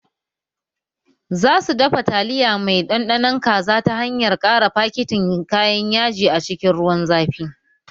Za su dafa taliya mai ɗanɗanon kaza ta hanyar ƙara fakitin kayan yaji a cikin ruwan zafi